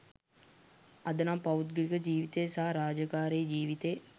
අද නම් පෞද්ගලික ජීවිතේ සහ රාජකාරී ජීවිතේ